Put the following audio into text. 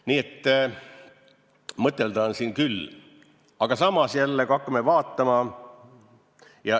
Nii et mõtelda on siin küll.